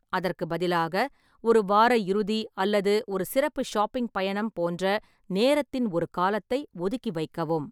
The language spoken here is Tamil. அதற்கு பதிலாக, ஒரு வார இறுதி அல்லது ஒரு சிறப்பு ஷாப்பிங் பயணம் போன்ற நேரத்தின் ஒரு காலத்தை ஒதுக்கி வைக்கவும்.